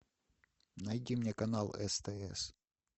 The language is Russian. найди мне канал стс